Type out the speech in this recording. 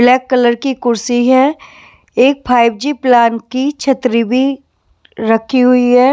Black colour की कुर्सी है एक फाइवजी प्लान की छतरी भी रखी हुई है।